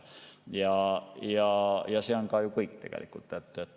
Ja see ongi kõik tegelikult.